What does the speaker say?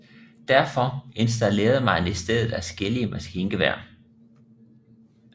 Derfor installerede man i stedet adskillige maskingeværer